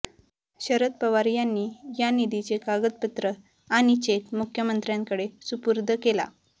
शरद पवार यांनी या निधीचे कागदपत्र आणि चेक मुख्यमंत्र्यांकडे सुपूर्द केला